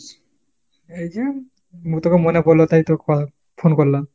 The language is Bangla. এই যে মু তোকে মনে পড়লো তাই তো phone করলাম।